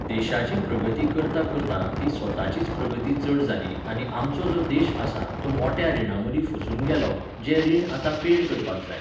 देशाची प्रगती करतां करतां ती स्वताचीच प्रगती चड जाली आनी आमचो जो देश आसा तो मोट्या रिणां मदीं फसून गेलो, जें रीण आतां पेड करपाक जाय